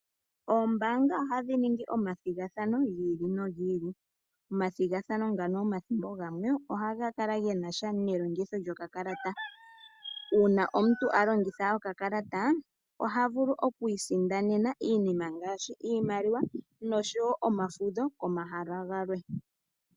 Oombaanga ohadhi ningi omathigathano gi ili nogi ili. Omathigathano ngano omathimbo ogamwe ohaga kala genasha nelongitho lyo kakalata. Uuna omuntu a longitha oka kalata ohavulu okwiisindanena iinima ngaashi iimaliwa, nosho wo omafudho komahala galwe